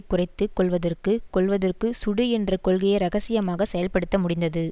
குறைத்து கொள்வதற்கு கொல்வதற்கு சுடு என்ற கொள்கையை இரகசியமாக செயல்படுத்த முடிந்தது